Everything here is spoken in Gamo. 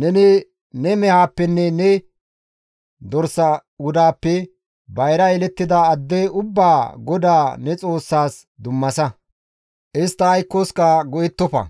Neni ne mehaappenne ne dorsa wudaappe bayra yelettida adde ubbaa GODAA ne Xoossaas dummasa; istta aykkoska go7ettofa;